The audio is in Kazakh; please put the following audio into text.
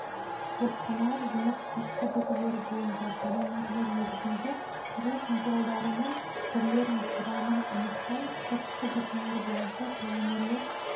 зертханалық жұмыс сыртқы белгілері бойынша полимерлер негізінде құрылыс материалдарының түрлерін құрамын анықтау сыртқы белгілері бойынша полимерлер